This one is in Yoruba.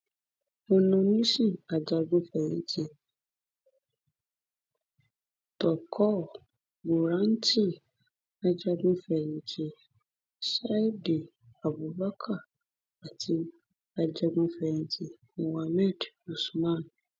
ononísìn ajagunfẹyìntì turkur buranti ajagunfẹyìntì sadìẹ àbùbakar àti ajagunfẹyìntì muhammed usman